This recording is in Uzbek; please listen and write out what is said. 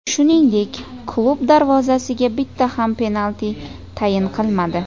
Shuningdek, klub darvozasiga bitta ham penalti tayin qilmadi.